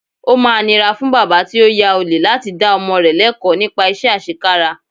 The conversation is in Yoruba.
Ó máa nira fún bàbá tí ó ya ọ̀lẹ láti dá ọmọ rẹ lẹ́kọ̀ọ̀ nípa iṣẹ́ àṣekára